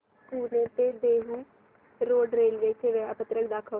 पुणे ते Dehu road railway चे वेळापत्रक दाखव